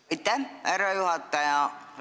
Aitäh, härra juhataja!